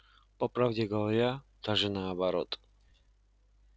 по правде говоря даже наоборот